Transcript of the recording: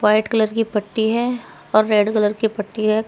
White colour की पट्टी है और रैड कलर की पट्टी है।